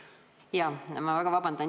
Ma palun vabandust!